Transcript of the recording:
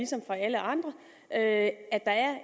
som for alle andre at at der er